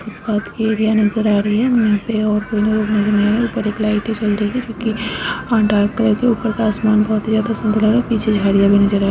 Area नजर आ रही है। यहाँ पे और कोई लोग नहीं न है। ऊपर एक लाइट भी जल रही है जो कि अ डार्क कलर की है। ऊपर का आसमान का बोहोत ही ज्यादा सुन्दर लग रहा है। पीछे झाड़ियाँ भी नजर आ --